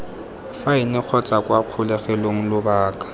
faene kgotsa kwa kgolegelong lobaka